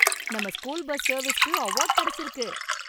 நம்ம school bus சர்வீசுக்கு award கிடைச்சிருக்கு!